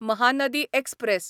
Mahanadi express